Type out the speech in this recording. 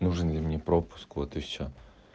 нужен ли мне пропуск вот и всё